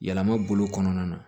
Yɛlɛma bolo kɔnɔna na